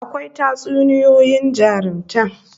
Akwai Tatsuniyoyin jarumta